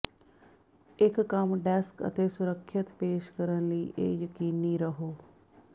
ਇੱਕ ਕੰਮ ਡੈਸਕ ਅਤੇ ਸੁਰੱਖਿਅਤ ਪੇਸ਼ ਕਰਨ ਲਈ ਇਹ ਯਕੀਨੀ ਰਹੋ